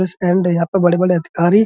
stand है यहाँ पे बड़े-बड़े अधिकारी --